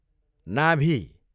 नाभी